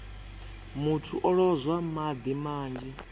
muthu o lozwa madi manzhi